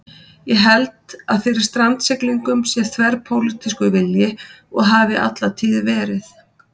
Ég held að fyrir strandsiglingum sé þverpólitískur vilji og hafi alla tíð verið.